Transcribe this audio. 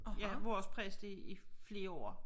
Ja vores præst i i flere år